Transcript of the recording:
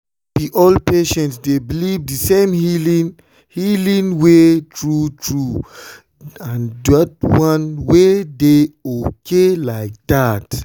no be all patients dey believe the same healing healing way true true—and that one dey okay like that.